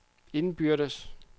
indbyrdes